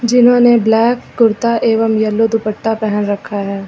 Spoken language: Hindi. जिन्होंने ब्लैक कुर्ता एवं येलो दुपट्टा पहन रखा है।